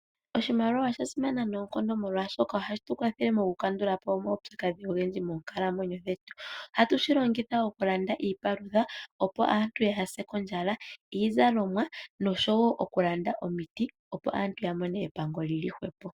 Oshimaliwa oshasimana noonkondo molwashoka ohashi tu kwathele moku kandulapo omaupyakadhi ogendji moonkalamwenyo dhetu, oha tu shi longitha wo okulanda iipalutha opo aantu yaa se ondjala, iizalomwa noshowo okulanda omiti opo aantu yamone epango li li hwepo.